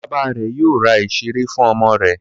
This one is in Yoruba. Bàbá rẹ̀ yóò ra ìṣeré fún ọmọ rẹ̀.